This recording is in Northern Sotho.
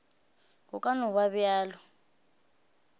go ka no ba bjalo